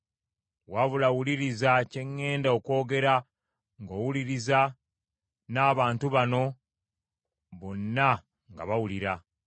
Wabula, wuliriza kye ŋŋenda okwogera ng’owuliriza n’abantu bano bonna nga bawulira.